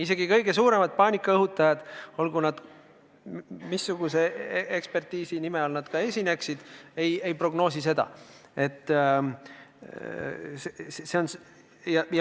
Isegi kõige suuremad paanikaõhutajad, ükskõik missuguse eksperdi nime all nad ka ei esine, ei prognoosi seda.